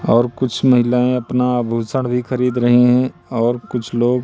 और कुछ महिलाएं अपना आभूषण भी खरीद रही हैं और कुछ लोग --